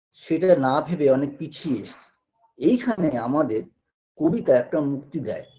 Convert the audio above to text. সেটা না ভেবে অনেক পিছিয়ে এসেছি এইখানে আমাদের কবিতা একটা মুক্তি দেয়